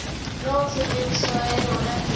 eo tshebediso ya yona e